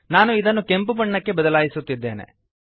ನಾನು ಇದನ್ನು ಕೆಂಪು ಬಣ್ಣಕ್ಕೆ ಬದಲಾಯಿಸುತ್ತಿದ್ದೇನೆ